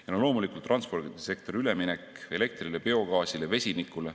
Ja loomulikult transpordisektori üleminek elektrile, biogaasile, vesinikule.